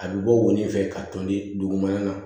A bɛ bɔ wo nin fɛ ka tɔn de dugumana na